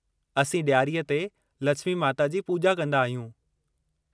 असीं ॾियारीअ ते लछिमी माता जी पूॼा कंदा आहियूं।